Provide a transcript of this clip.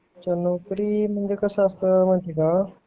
नोकरी म्हणजे कस असत माहिती का